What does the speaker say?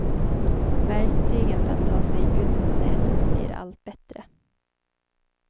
Verktygen för att ta sig ut på nätet blir allt bättre.